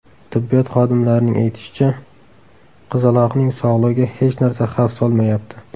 Tibbiyot xodimlarining aytishicha, qizaloqning sog‘ligiga hech narsa xavf solmayapti.